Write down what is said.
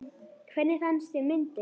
Hvernig fannst þér myndin?